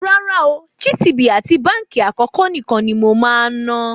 Rárá ooo, GTB àti Báńkì Àkọ́kọ́ nìkan ni mo máa ń ná.